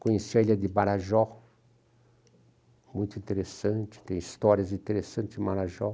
Conheci a ilha de Marajó, muito interessante, tem histórias interessantes Marajó.